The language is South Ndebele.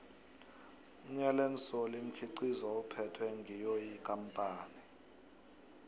iallen solly mkhiqizo uphethwe ngiyophi ikampani